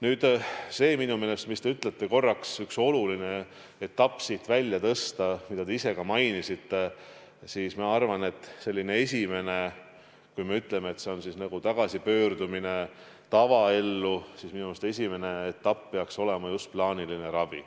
Kui te ütlesite, et tuleks korraks üks oluline etapp siit välja tõsta, siis ma arvan, et esimene etapp, kui me räägime tagasipöördumisest tavaellu, peaks minu meelest olema just plaaniline ravi.